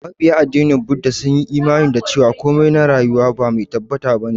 Mabiya addinin Buda sun yi imani da cewa komai na rayuwa ba mai tabbata ba ne.